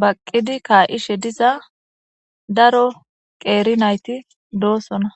baqqidi kaa7ishe diza daro qeeri nayti doosona